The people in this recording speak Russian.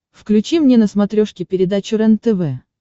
включи мне на смотрешке передачу рентв